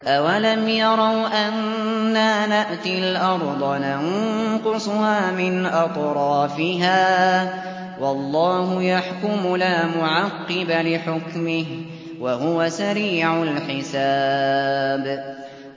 أَوَلَمْ يَرَوْا أَنَّا نَأْتِي الْأَرْضَ نَنقُصُهَا مِنْ أَطْرَافِهَا ۚ وَاللَّهُ يَحْكُمُ لَا مُعَقِّبَ لِحُكْمِهِ ۚ وَهُوَ سَرِيعُ الْحِسَابِ